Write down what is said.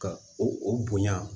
Ka o bonya